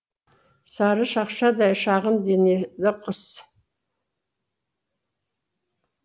сары шақшадай шағын денелі құс